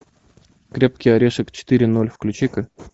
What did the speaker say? крепкий орешек четыре ноль включи ка